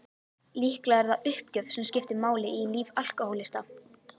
Líklega er það uppgjöf sem skiptir máli í lífi alkohólista.